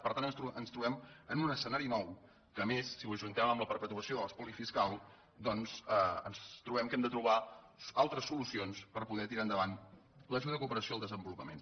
per tant ens trobem en un es cenari nou en què a més si ho ajuntem amb la perpetuació de l’espoli fiscal doncs ens trobem que hem de trobar al tres solucions per poder tirar endavant l’ajuda de cooperació al desenvolupament